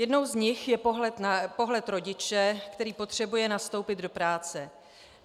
Jednou z nich je pohled rodiče, který potřebuje nastoupit do práce.